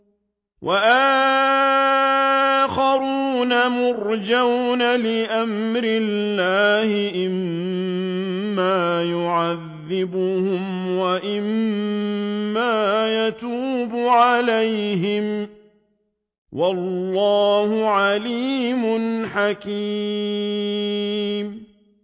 وَآخَرُونَ مُرْجَوْنَ لِأَمْرِ اللَّهِ إِمَّا يُعَذِّبُهُمْ وَإِمَّا يَتُوبُ عَلَيْهِمْ ۗ وَاللَّهُ عَلِيمٌ حَكِيمٌ